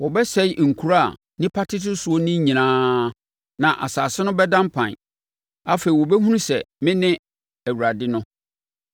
Wɔbɛsɛe nkuro a nnipa tete soɔ no nyinaa na asase no bɛda mpan. Afei wobɛhunu sɛ mene Awurade no.’ ”